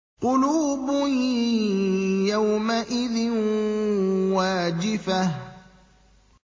قُلُوبٌ يَوْمَئِذٍ وَاجِفَةٌ